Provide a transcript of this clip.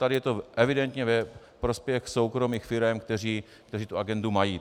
Tady je to evidentně ve prospěch soukromých firem, které tu agendu mají.